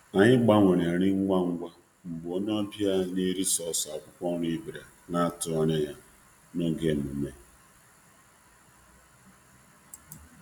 Anyị doziri nri ahụ ngwa ngwa mgbe onye ọbịa onye anaghị eri anụ rutere n'amaghị ọkwa n'oge nmenme ahụ.